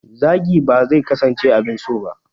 Zagi ba zai kasance abin so ba.